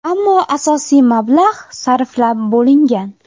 Ammo asosiy mablag‘ sarflab bo‘lingan.